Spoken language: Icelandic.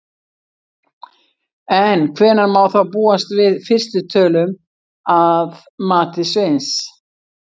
En hvenær má þá búast við fyrstu tölum að mati Sveins?